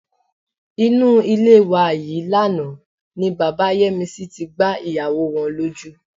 Inú ilé wa yìí lánàá ni bàbá Yẹ́misí tí gbá ìyàwó wọn lójú.